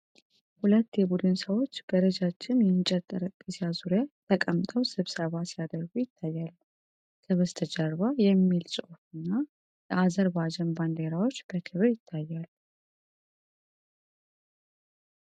ሁለት የቡድን ሰዎች በረጃጅም የእንጨት ጠረጴዛ ዙሪያ ተቀምጠው ስብሰባ ሲያደርጉ ይታያሉ። ከበስተጀርባ "AFEZ ALAT FREE ECONOMIC ZONE" የሚል ጽሑፍና የአዘርባጃን ባንዲራዎች በክብር ይታያሉ።